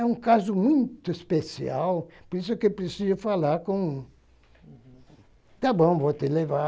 É um caso muito especial, por isso que eu preciso falar com... Tá bom, vou te levar.